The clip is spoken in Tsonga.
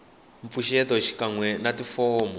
mpfuxeto xikan we na tifomo